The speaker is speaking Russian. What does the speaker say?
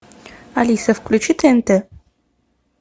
алиса включи тнт